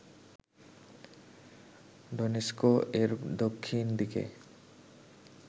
ডোনেস্ক-এর দক্ষিণদিকে